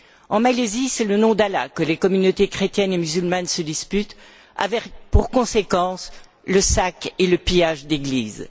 En Malaisie, c'est le nom d'Allah que les communautés chrétiennes et musulmanes se disputent, avec pour conséquence le sac et le pillage d'églises.